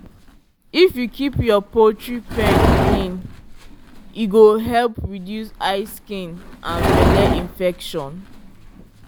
if you keep your poultry pen clean e go help reduce eye skin and belle infection.